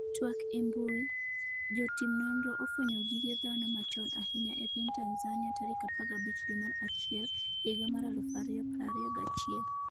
twak e mbui, Jotim nonro ofwenyo gige dhano machon ahinya e piny Tanzania tarik 15 dwe mar achiel higa mar 2021